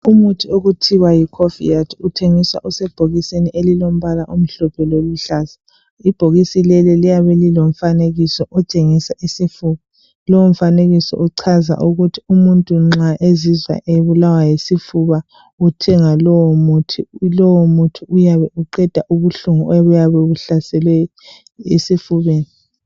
Umithi okuthiwa yi cofaid uthengiswa usebhokisini elilompala omhlophe loluhlaza. Ibhokisi leli liyabe lilomfanekiso otshengisa isifuba. Lowo mfanekiso uchaza ukuthi umuntu nxa ezizwa ebulawa yisifuba uthenga lowo muthi, lowo muthi uyabe uqeda ubuhlungu obuyabe buhlasele esifubeni.